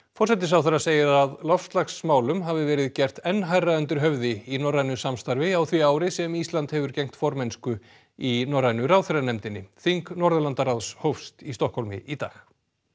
forsætisráðherra segir að loftslagsmálum hafi verið gert enn hærra undir höfði í norrænu samstarfi á því ári sem Ísland hefur gegnt formennsku í norrænu ráðherranefndinni þing Norðurlandaráðs hófst í Stokkhólmi í dag